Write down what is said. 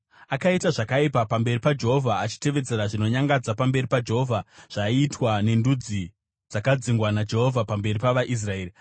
Akaita zvakaipa pamberi paJehovha, achitevedzera zvinonyangadza pamberi paJehovha zvaiitwa nendudzi dzakadzingwa naJehovha pamberi pavaIsraeri.